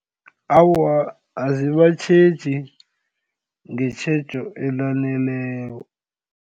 Awa, azibatjheji ngetjhejo elaneleko.